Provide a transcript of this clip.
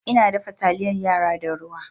Ina dafa taliyar yara da ruwa